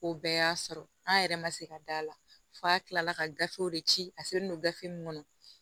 O bɛɛ y'a sɔrɔ an yɛrɛ ma se ka d'a la f'a kila la ka gafew de ci a selen don gafe min kɔnɔ